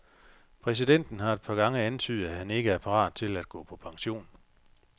Præsidenten har et par gange antydet, at han ikke er parat til at gå på pension.